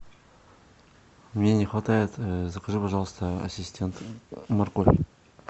мне не хватает закажи пожалуйста ассистент морковь